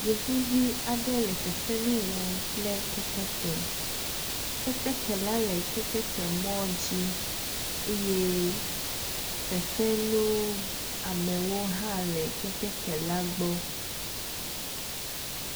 Yevuvi aɖe le fefe nu wɔm kple keteke, keteke la le keteke mɔ dzi eye fefenu v amewo hã le keteke la gbɔ